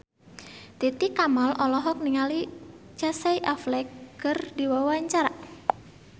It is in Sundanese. Titi Kamal olohok ningali Casey Affleck keur diwawancara